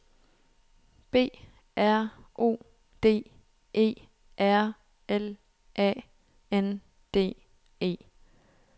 B R O D E R L A N D E